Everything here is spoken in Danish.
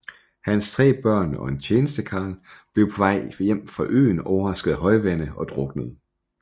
Hans 3 børn og en tjenestekarl blev på vej hjem fra øen overrasket af højvande og druknede